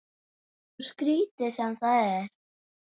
Svo skrítið sem það er.